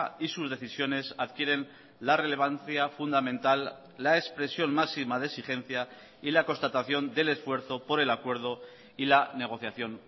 y sus decisiones adquieren la relevancia fundamental la expresión máxima de exigencia y la constatación del esfuerzo por el acuerdo y la negociación